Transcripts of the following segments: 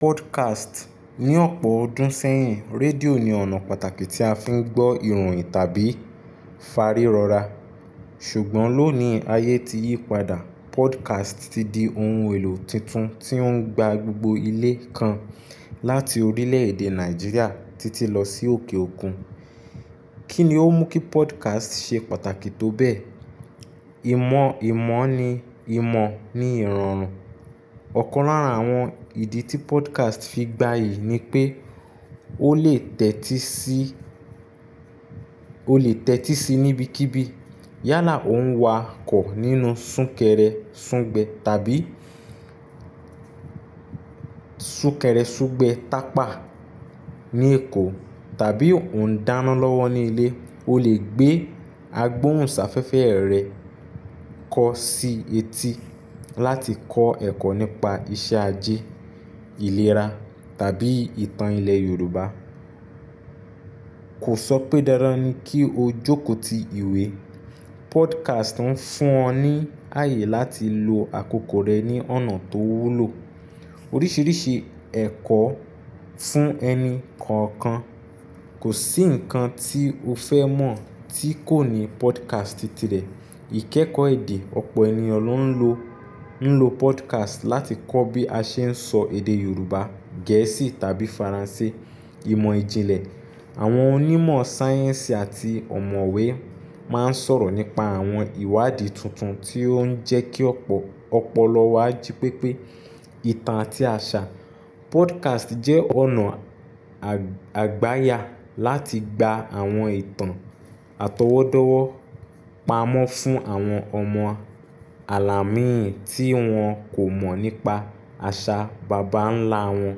Podcast. Ni ọ̀pọ̀ ọdún sẹ́yìn, rédíò ni ọ̀nà pàtàkì tí a fi ń gbọ́ ìròyìn tàbí ìfárírọra. Ṣùgbọ́n lónìí, ayé ti yí padà. Podcast ti di ohun èlò tuntun tí ó ń gba gbogbo ilẹ̀ kan láti orílẹ̀èdè Nàìjíríà títí lọ sí òkè òkun. Kí ni ó mú kí podcast ṣe pàtàkì tó bẹ́ẹ̀? Ìmọ̀ ìmọ̀ ni ìmọ̀ ní ìrọ̀rùn. Ọ̀kan lára àwọn ìdí tí podcast fi gbayì ni pé ó lè tẹ́tí sí, ó lè tẹ́tí sí níbikíbi. Yálà ó ń wakọ̀ nínú súnkẹrẹ súngbẹ tàbí súnkẹrẹ súngbẹ tapà ní Èkó tàbí ó ń dáná lọ́wọ́ ní ilé, o lè gbé agbóhùnsáfẹ́fẹ́ rẹ kọ sí etí láti kọ́ ẹ̀kọ́ nípa iṣẹ́ ajé, ìlera tàbí ìtàn ilẹ̀ Yorùbá. Kò sọ pé dádán ni kí o jókòó ti ìwé. Podcast ń fún ọ ní àyè láti lo àkókò rẹ ní ọ̀nà tó wúlò. Oríṣiríṣi ẹ̀kọ́ fún ẹni kọ̀ọ̀kan. Kò sí nǹkan tí o fẹ́ mọ̀ tí kò ní podcast ti ti ẹ̀. Ìkẹ́kọ̀ọ́ èdè, ọ̀pọ̀ ènìyàn ló ń lo, ń lo podcast láti kọ́ bí a ṣe ń sọ èdè Yorùbá, Gẹ̀ẹ́sì tàbí Faransé. Ìmọ̀ ìjìnlẹ̀, àwọn onímọ̀ sáyẹ́ǹsì àti ọ̀mọ̀wẹ́ máa ń sọ̀rọ̀ nípa àwọn ìwádìí tuntun tí ó ń jẹ́ kí ọ̀pọ̀, ọ̀pọ̀lọ́wọ́ á jí pépé. Ìtàn àti àṣà, podcast jẹ́ ọ̀nà àgb, àgbáyà láti gba àwọn ìtàn àtọwọ́dọ́wọ́ pamọ́ fún àwọn ọmọ àlàmín tí wọ́n kò mọ̀ nípa àṣà bàbá ńlá wọn.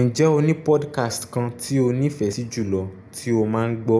Ǹjẹ́ o ní podcast kan tí o nífẹ̀ẹ́ sí jùlọ tí o máa ń gbọ́?